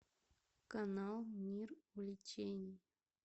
канал мир увлечений